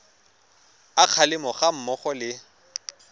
a kgalemo ga mmogo le